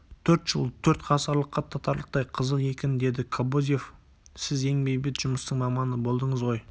төрт жыл төрт ғасырлыққа татырлықтай қызық екен деді кобозев сіз ең бейбіт жұмыстың маманы болдыңыз ғой